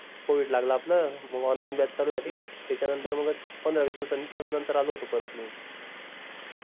covid लागलं आपलं मंग online batch चालू झाली त्याच्या नंतर मंग पंधरा वीस दिवस नंतर नंतर आलो होतो परत मी